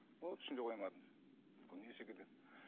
оны түсіне қоймадым не секілді